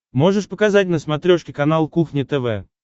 можешь показать на смотрешке канал кухня тв